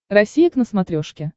россия к на смотрешке